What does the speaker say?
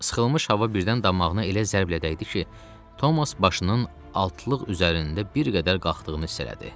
Sıxılmış hava birdən damağına elə zərblə dəydi ki, Thomas başının altlıq üzərində bir qədər qalxdığını hiss elədi.